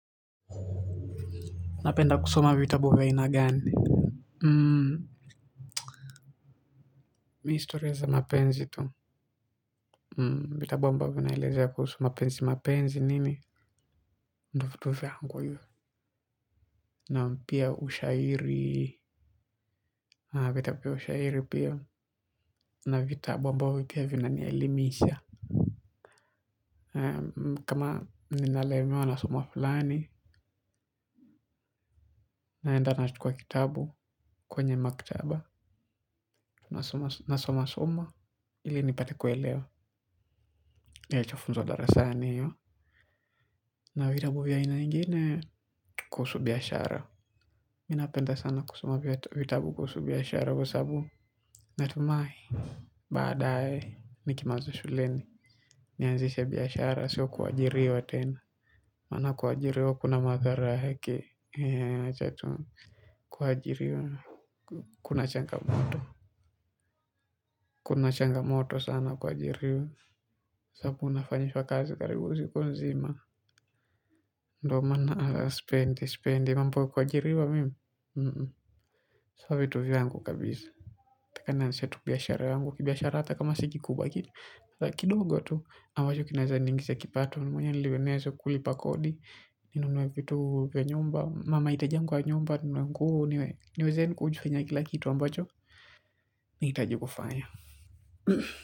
Napenda kusoma vitabu vya aina gani. Hmm. Mimi stori za mapenzi tu. Hmm vitabu ambavyo vinaelezea kuhusu mapenzi mapenzi nini. Ndio vitu vyangu hivyo. Naam pia ushairi. Haa vitabu vya ushairi pia na vitabu ambavyo pia vinanielimisha. Haa kama ninalemewa na somo fulani. Naenda nachukuwa kitabu kwenye maktaba. Nasoma soma ili nipate kuelewa ninachofunzwa darasani na vitabu vya aina ingine kuhusu biashara. Mimi napenda sana kusoma vitabu kuhusu biashara kwa sababu Natumai Baadae nikimaliza shuleni nianzishe biashara sio kuajiriwa tena. Maana kuajiriwa kuna madhara heki. Eee wacha tu. Kuajiriwa. Kuna changamoto. Kuna changamoto sana kuajiriwa kwa sababu unafanyishwa kazi karibu siku nzima. Ndio maana sipendi sipendi mambo ya kuajiriwa mimi. Sio vitu vyangu kabisa nataka nanzishe tu biashara yangu kibiashara hata kama si kikubwa kidogo tu ambacho kinaweza niingishia kipato Mwenye ili niwe nazo kulipa kodi ninunue mahitaji yangu ya nyumba ninunue nguo niweze yaani kujifanya kila kitu ambacho nahitaji kufanya.